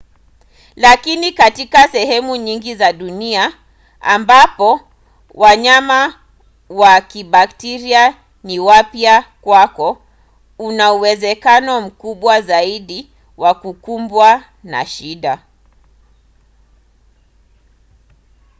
lakini katika sehemu nyingine za dunia ambapo wanyama wa kibakteria ni wapya kwako una uwezekano mkubwa zaidi wa kukumbwa na shida